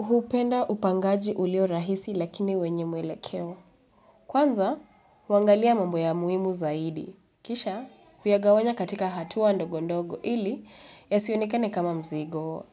Hupenda upangaji ulio rahisi lakini wenye mwele keo. Kwanza, wangalia mambo ya muimu zaidi. Kisha, viagawanya katika hatua ndogo ndogo ili ya sionekane kama mzigo.